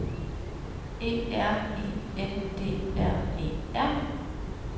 E R I N D R E R